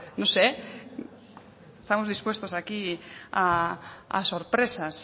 no sé estamos dispuestos aquí a sorpresas